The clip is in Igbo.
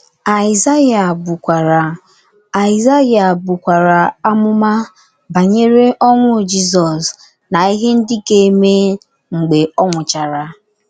Aịzaya bukwara Aịzaya bukwara amụma banyere ọnwụ Jizọs na ihe ndị ga - eme mgbe ọ nwụchara.